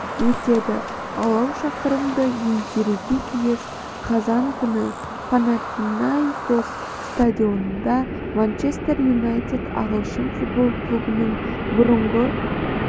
өтеді алау шақырымды еңсеруге тиіс қазан күні панатинаикос стадионында манчестер юнайтед ағылшын футбол клубының бұрынғы